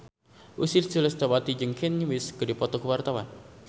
Ussy Sulistyawati jeung Kanye West keur dipoto ku wartawan